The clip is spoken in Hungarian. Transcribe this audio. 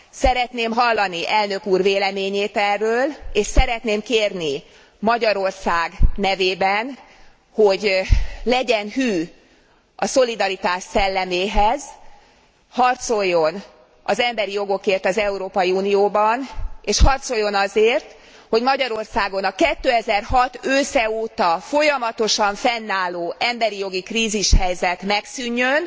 Szeretném hallani Elnök úr véleményét erről, és szeretném kérni Magyarország nevében, hogy legyen hű a szolidaritás szelleméhez, harcoljon az emberi jogokért az Európai Unióban és harcoljon azért, hogy Magyarországon a 2006 ősze óta folyamatosan fennálló emberi jogi krízishelyzet megszűnjön,